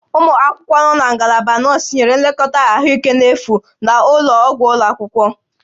Ụmụ akwụkwọ nọ na Ngalaba Nọọsụ nyere nlekọta ahụike n'efu na ụlọ ọgwụ ụlọ akwụkwọ